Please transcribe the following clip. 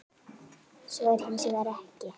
Svo er hins vegar ekki.